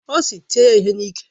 Ọ sị, tie ya ihe n'iké!